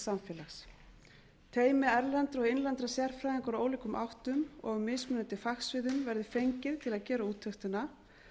samfélags teymi erlendra og innlendra sérfræðinga úr ólíkum áttum og af mismunandi fagsviðum verði fengið til að gera úttektina og